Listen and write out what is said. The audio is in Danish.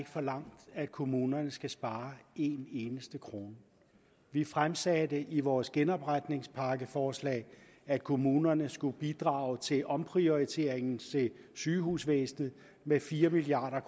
forlangt at kommunerne skal spare en eneste krone vi fremsatte i vores genopretningspakkeforslag at kommunerne skulle bidrage til omprioriteringen til sygehusvæsenet med fire milliard